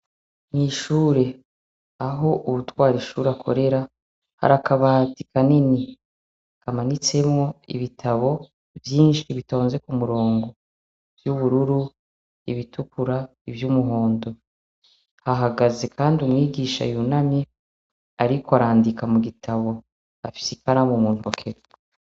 Mw'ishuri aho uwutwara ishure akorera har'akabati kanini kamanitsemwo ibitabo vyishi bitonze k'umurongo vy'ubururu, ibitukura, vy'umuhondo. Hahagaze kandi umwigisha yunamye ariko arandika mugitabo afise ikaramu muntoke.